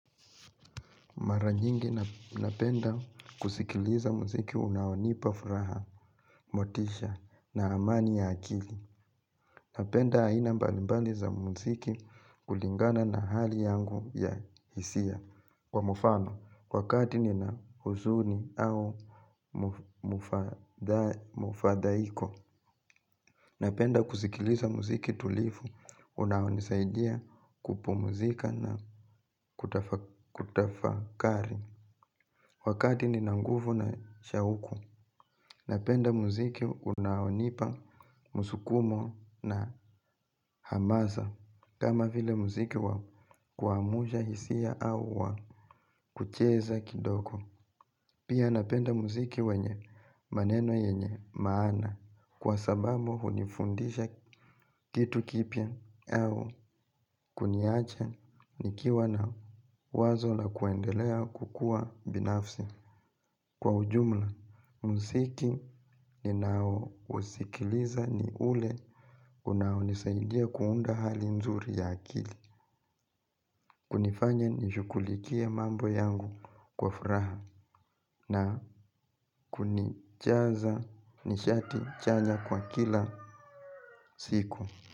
Maranyingi napenda kusikiliza muziki unaonipafuraha, motisha, na amani ya akili. Napenda haina mbalimbali za muziki kulingana na hali yangu ya hisia. Kwa mufano, wakati nina huzuni au mufadhaiko, napenda kusikiliza muziki tulifu, unaonisaidia kupumuzika na kutafakari. Wakati ni nangufu na shauku, napenda muziki unaonipa musukumo na hamaza kama vile muziki wa kuamuja hisia au wa kucheza kidoko. Pia napenda muziki wenye maneno yenye maana kwa sababu unifundisha kitu kipia au kuniache nikiwa na wazo la kuendelea kukua binafsi. Kwa ujumla, msiki ninao usikiliza ni ule kunao nisaidia kuunda hali nzuri ya akili. Kunifanya nishukulikie mambo yangu kwa furaha na kunichaza nishati chanya kwa kila siku.